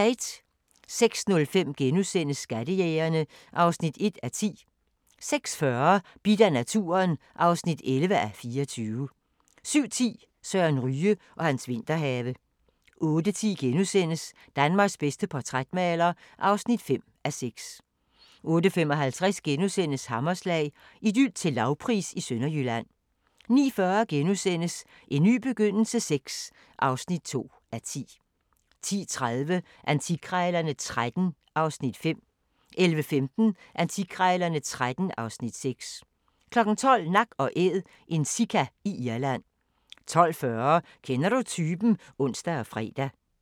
06:05: Skattejægerne (1:10)* 06:40: Bidt af naturen (11:24) 07:10: Søren Ryge og hans vinterhave 08:10: Danmarks bedste portrætmaler (5:6)* 08:55: Hammerslag – Idyl til lavpris i Sønderjylland * 09:40: En ny begyndelse VI (2:10)* 10:30: Antikkrejlerne XIII (Afs. 5) 11:15: Antikkrejlerne XIII (Afs. 6) 12:00: Nak & Æd – en sika i Irland 12:40: Kender du typen? (ons og fre)